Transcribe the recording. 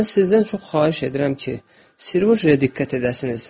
Mən sizdən çox xahiş edirəm ki, Sirojəyə diqqət edəsiniz.